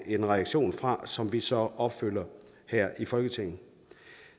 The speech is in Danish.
en reaktion fra som vi så opfylder her i folketinget